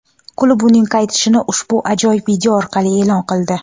Klub uning qaytishini ushbu ajoyib video orqali e’lon qildi.